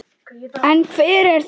En hver eru þau?